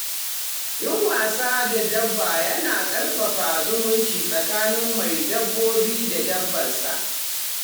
Yin wasa da dabba yana ƙarfafa zumunci tsakanin mai dabbobi da dabbar sa.